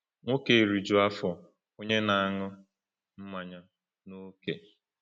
“Nwoke eriju afọ, onye na-aṅụ mmanya n’ókè.”